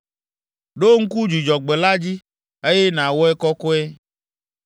Ɖo ŋku Dzudzɔgbe la dzi, eye nàwɔe kɔkɔe.